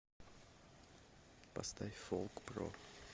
поставь фолкпро